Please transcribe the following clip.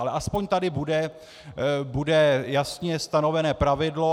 Ale aspoň tady bude jasně stanovené pravidlo.